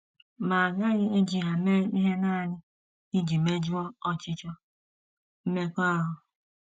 Ma a gaghị eji ha mee ihe nanị iji mejuo ọchịchọ mmekọahụ.